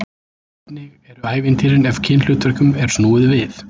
Hvernig eru ævintýrin ef kynhlutverkum er snúið við?